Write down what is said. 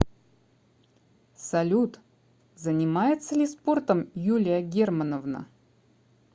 салют занимается ли спортом юлия германовна